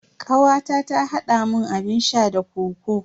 Kawata ta haɗa mun abun sha da kokoo.